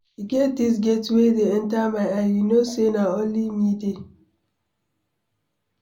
E get dis gate wey dey enter my eye. You no say na only me dey.